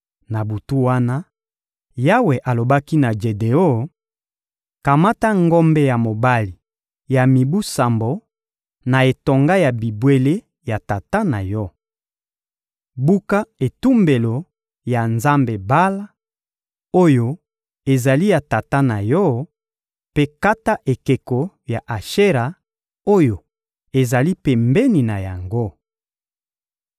Na butu wana, Yawe alobaki na Jedeon: — Kamata ngombe ya mobali ya mibu sambo, na etonga ya bibwele ya tata na yo. Buka etumbelo ya nzambe Bala, oyo ezali ya tata na yo, mpe kata ekeko ya Ashera, oyo ezali pembeni na yango.